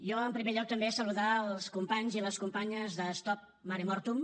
jo en primer lloc també saludar els companys i les companyes de stop mare mortum